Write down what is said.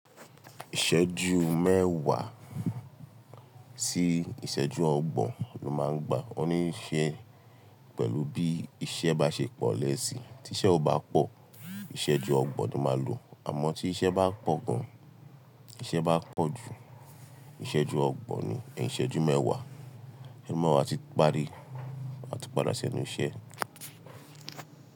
Ìsẹ́jú mẹ́wàá sí ìsẹ́jú ọgbọ̀n ni wọ́n máa ń gbà oníṣẹ́ pẹ̀lú bí iṣẹ́ bá ṣe pọ̀ lẹ́yìn tí iṣẹ́ ò bá pọ̀, ìsẹ́jú ọgbọ̀n ni máa lò. Àmọ́ tí iṣẹ́ bá pọ̀ gan, iṣẹ́ bá pọ̀ jù, ìsẹ́jú ọgbọ̀n ni, ìsẹ́jú mẹ́wàá, ẹ mọ̀ wípé a ti parí, a ti padà sí ẹnu iṣẹ́